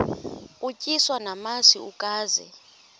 utyiswa namasi ukaze